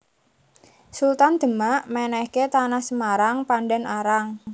Sultan Demak mènèhké Tanah Semarang Pandan Arang